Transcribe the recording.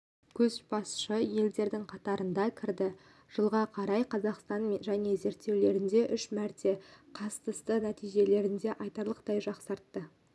көшбасшы елдердің қатарына кірді жылға қарай қазақстан және зерттеулеріне үш мәрте қастысты нәтижелерін айтарлықтай жақсартты